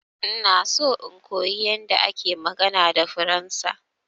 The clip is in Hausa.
Ina so in koyi magana da faransa.